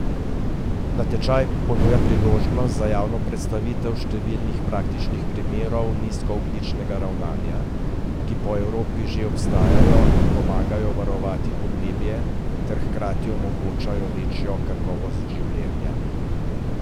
Natečaj ponuja priložnost za javno predstavitev številnih praktičnih primerov nizkoogljičnega ravnanja, ki po Evropi že obstajajo in pomagajo varovati podnebje ter hkrati omogočajo večjo kakovost življenja.